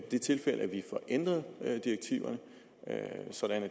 det tilfælde at vi får ændret direktiverne så